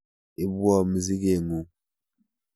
Ibwo mzigeng'ung'.